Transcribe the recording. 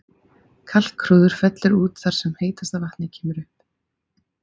Kalkhrúður fellur út þar sem heitasta vatnið kemur upp.